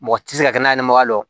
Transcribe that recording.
Mɔgɔ tɛ se ka kɛnɛmaga dɔn